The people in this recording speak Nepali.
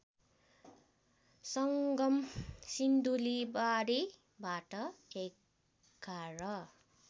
सङ्गम सिन्धुलीमाढीबाट ११